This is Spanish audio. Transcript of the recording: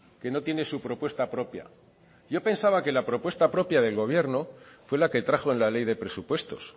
que no tiene su propuesta propia yo pensaba que la propuesta propia del gobierno fue la que trajo en la ley de presupuestos